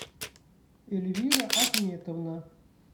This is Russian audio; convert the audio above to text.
эльвира ахметовна